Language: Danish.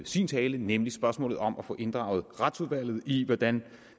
sin tale nemlig spørgsmålet om at få inddraget retsudvalget i hvordan